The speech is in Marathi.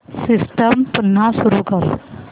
सिस्टम पुन्हा सुरू कर